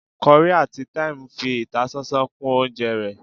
curry atí thyme fi ìtásánsán kún oúnjẹ ré